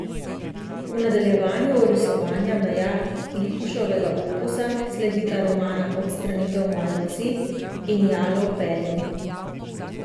V nadaljevanju orisovanja meja Lipuševega opusa sledita romana Odstranitev moje vasi in Jalov pelin.